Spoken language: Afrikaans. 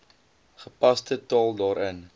gepaste taal daarin